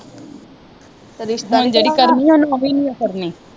ਹੁਣ ਜਿਹੜੀ ਕਰਨੀ ਉਹਨਾਂ ਓਵੀ ਨਹੀਂ ਓ ਕਰਨੀ।